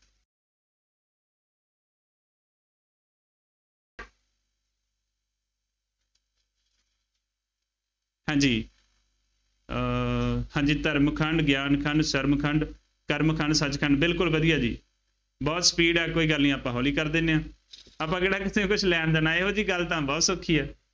ਹਾਂਜੀ ਅਹ ਹਾਂਜੀ ਧਰਮ ਖੰਡ, ਗਿਆਨ ਖੰਡ, ਸਰਮ ਖੰਡ, ਕਰਮ ਖੰਡ, ਸੱਚਖੰਡ ਬਿਲਕੁੱਲ ਵਧੀਆਂ ਜੀ, ਬਹੁਤ speed ਆ, ਕੋਈ ਗੱਲ ਨਹੀਂ ਆਪਾਂ ਹੌਲੀ ਕਰ ਦਿੰਦੇ ਹਾਂ, ਆਪਾਂ ਕਿਹੜਾ ਕਿਸੇ ਤੋਂ ਕੁੱਝ ਲੈਣ ਦੇਣ ਆਏ ਹਾ, ਇਹੋ ਜਿਹੀ ਗੱਲ ਤਾਂ ਬਹੁਤ ਸੌਖੀ ਹੈ।